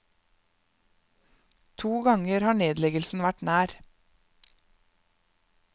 To ganger har nedleggelsen vært nær.